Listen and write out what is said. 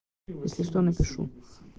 если что напишу